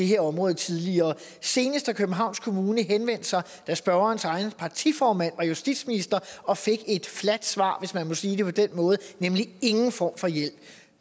her område tidligere senest har københavns kommune henvendt sig da spørgerens egen partiformand var justitsminister og fik et fladt svar hvis man kan sige det på den måde nemlig ingen form for hjælp